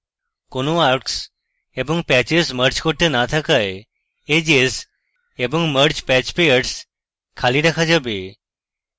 কোনো arcs এবং patches merge করতে না থাকায় edges এবং mergepatchpairs খালি রাখা যাবে